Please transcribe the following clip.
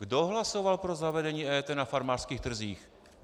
Kdo hlasoval pro zavedení EET na farmářských trzích?